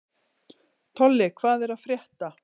Tolli, hvað er að frétta?